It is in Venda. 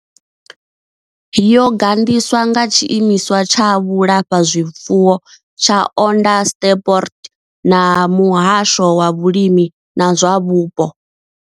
Yo gandiswa nga tshiimiswa tsha vhulafhazwifuwo tsha Onderstepoort na muhasho wa vhulimi na zwa vhupo.